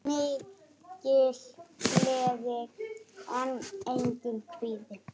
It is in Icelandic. Mikil gleði en einnig kvíði.